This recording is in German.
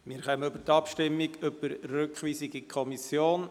Wir kommen zur Abstimmung über die Rückweisung an die Kommission.